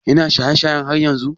Ya na shaye shayen har yanzu?